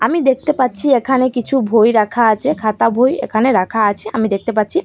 আমি দেখতে পাচ্ছি এখানে কিছু ভই রাখা আছে খাতা বই এখানে রাখা আছে আমি দেখতে পাচ্ছি।